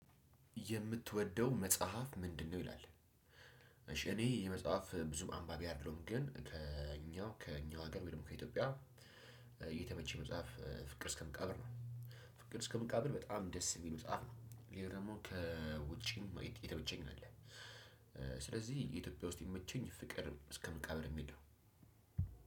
የምትወደው መጽሐፍ ምንድነው? ይላል እሺ እኔ የመጽሐፍ ብዙ አንባቢ አይደለሁም ግን ከእኛው ከእኛ ሀገር ወይም ከኢትዮጵያ የተመቸኝ መጽሐፍ ፍቅር እስከምቃብር ነው። ፍቅር እስከምቃብር በጣም ደስ የሚል መፅሀፍ ነው። ይሄ ደግሞ ከውጪም የተመቸኝ አለ። ስለዚህ የኢትዮጵያ ውስጥ የሚመቸኝ ፍቅር እስከመቃብር የሚል ነው።